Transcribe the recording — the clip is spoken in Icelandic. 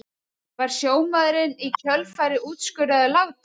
Var sjómaðurinn í kjölfarið úrskurðaður látinn